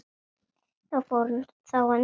Fór hann þá undan.